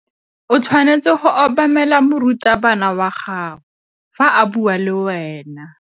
O tshwanetse go obamela morutabana wa gago fa a bua le wena.